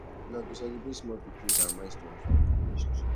una go celebrate small victories and milestone for una relationship